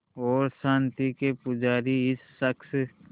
और शांति के पुजारी इस शख़्स